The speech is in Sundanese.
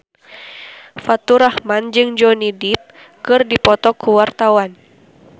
Faturrahman jeung Johnny Depp keur dipoto ku wartawan